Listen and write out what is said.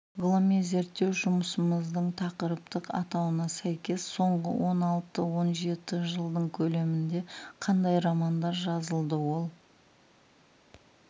ғылыми зерттеу жұмысымыздың тақырыптық атауына сәйкес соңғы он алты-он жеті жылдың көлемінде қандай романдар жазылды ол